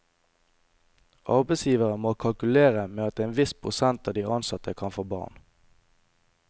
Arbeidsgivere må kalkulere med at en viss prosent av de ansatte kan få barn.